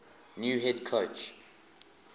new head coach